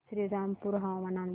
श्रीरामपूर हवामान अंदाज